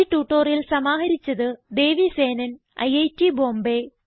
ഈ ട്യൂട്ടോറിയൽ സമാഹരിച്ചത് ദേവി സേനൻ ഐറ്റ് ബോംബേ